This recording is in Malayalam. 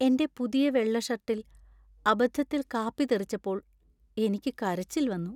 എന്‍റെ പുതിയ വെള്ള ഷർട്ടിൽ അബദ്ധത്തിൽ കാപ്പി തെറിച്ചപ്പോൾ എനിക്ക് കരച്ചിൽ വന്നു.